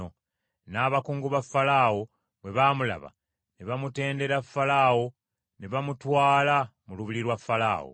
N’abakungu ba Falaawo bwe baamulaba ne bamutendera Falaawo ne bamutwala mu lubiri lwa Falaawo.